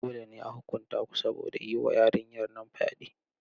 Dole ne a huƙunta ku saboda yi wa yarinyar nan fyaɗe.